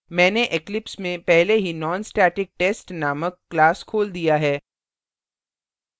मैंने eclipse में पहले ही nonstatictest named class खोल दिया है